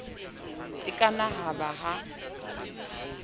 e ka na ba ha